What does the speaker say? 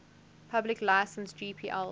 public license gpl